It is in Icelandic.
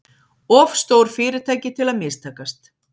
Of stór fyrirtæki til að mistakast